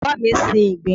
Bàbá mi ń sin ìgbín.